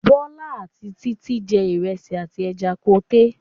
Bọ́lá àti Títí jẹ ìrẹsì àti ẹja koté.